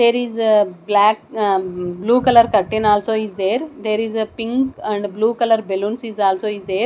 there is black ah blue colour curtain also is there there is a pink and blue colour balloons is also is there.